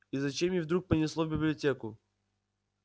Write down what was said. и зачем её вдруг понесло в библиотеку